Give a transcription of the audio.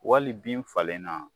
Wali bin falen na